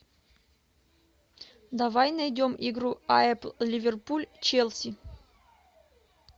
давай найдем игру апл ливерпуль челси